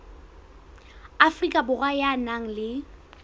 afrika borwa ya nang le